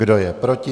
Kdo je proti?